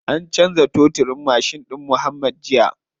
An canza toturin mashin ɗin muuhammad jiya.